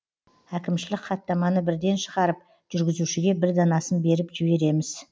әкімшілік хаттаманы бірден шығарып жүргізушіге бір данасын беріп жібереміз